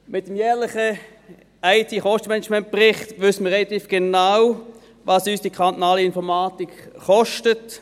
Mit dem jährlichen IT-Kostenmanagementbericht wissen wir relativ genau, was uns die kantonale Informatik kostet.